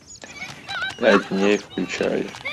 пять дней включай